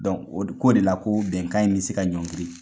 Donc o ko de la ko bɛnkan in bi se ka ɲɔngiri!